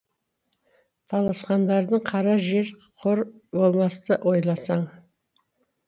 таласқандарың кара жер қор болмасты ойласаң